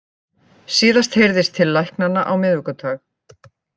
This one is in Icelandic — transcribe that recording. Síðast heyrðist til læknanna á miðvikudag